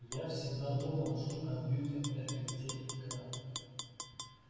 я всегда думала что компьютер это где экран